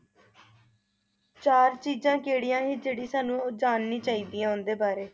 ਚਾਰ ਚੀਜਾਂ ਕਿਹੜੀਆਂ ਹੀ ਜਿਹੜੀ ਸਾਨੂੰ ਉਹ ਜਾਣਨੀ ਚਾਹੀਦੀਆਂ ਉਨ੍ਹਾਂ ਦੇ ਬਾਰੇ